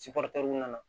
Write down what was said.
nana